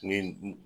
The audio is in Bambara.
Ni